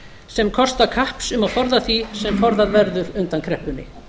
sem kosta kapps um að forða því sem forðað verður undan kreppunni